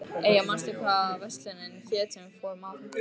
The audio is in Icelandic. Eyja, manstu hvað verslunin hét sem við fórum í á fimmtudaginn?